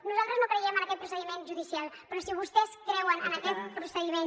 nosaltres no creiem en aquest procediment judicial però si vostès creuen en aquest procediment